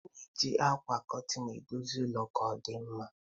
A na-eji ákwà kurtin edozi ụlọ ka ọdịmma